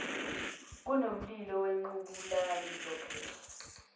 kunomlilo wequbula ngizophendla